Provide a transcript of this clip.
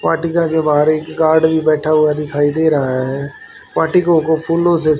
party के आगे बाहर एक गार्ड भी बैठा हुआ दिखाई दे रहा है पार्टी को फूलों से--